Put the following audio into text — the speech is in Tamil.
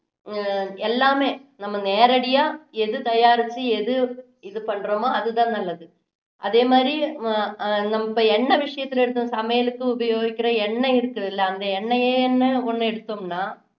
அஹ் எல்லாமே நம்ம நேரடியா எது தயாரிச்சு எது இது பண்ணுறமோ அது தான் நல்லது அதேமாதிரி அஹ் நம்ம எண்ணெய் விஷயத்துல எடுத்தோம் சமையலுக்கு உபயோகிக்குற எண்ணெய் இருக்குதுல்ல அந்த எண்ணெயை ஒண்ணு எடுத்தோம்னா